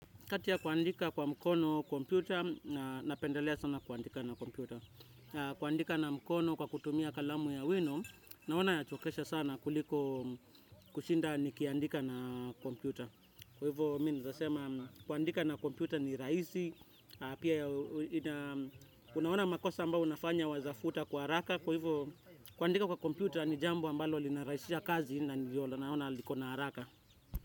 Kati ya kuandika kwa mkono, kompyuta, napendelea sana kuandika na kompyuta. Kuandika na mkono kwa kutumia kalamu ya wino, naona yachokesha sana kuliko kushinda nikiandika na kompyuta. Kwa hivo mi nzasema kuandika na kompyuta ni raisi, pia unaona makosa ambao unafanya waezafuta kwa haraka. Kwa hivyo, kuandika kwa kompyuta, ni jambo ambalo linaraisia kazi na ndio naona liko na haraka.